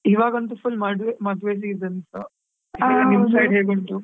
ಇವಾಗಂತೂ full ಮದುವೆ season ನಿಮ್ side ಹೇಗ್ ಉಂಟು?